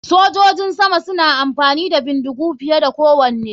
Sojojin sama suna amfani da bindigu da suke gudu fiye da kowane.